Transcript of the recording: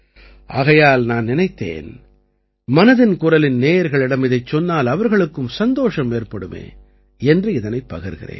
ஆகையால் நான் நினைத்தேன் மனதின் குரலின் நேயர்களிடம் இதைச் சொன்னால் அவர்களுக்கும் சந்தோஷம் ஏற்படுமே என்று இதனைப் பகிர்கிறேன்